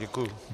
Děkuji.